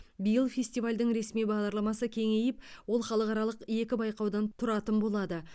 биыл фестивальдің ресми бағдарламасы кеңейіп ол халықаралық екі байқаудан тұратын болады